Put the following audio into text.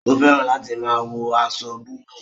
O fẹràn láti máa wọ aṣọ búbù